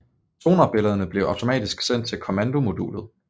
Sonarbillederne bliver automatisk sendt til kommandomodulet